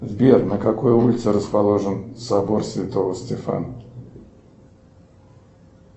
сбер на какой улице расположен собор святого стефана